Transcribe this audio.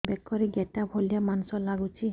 ବେକରେ ଗେଟା ଭଳିଆ ମାଂସ ଲାଗୁଚି